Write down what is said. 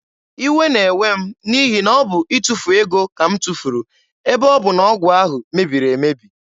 Iwe na-ewe m n'ihi na ọ bụ itufu ego ka m tufuru ebe ọ bụ na ọgwụ ahụ mebiri emebi.